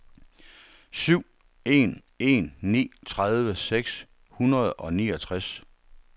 syv en en ni tredive seks hundrede og niogtres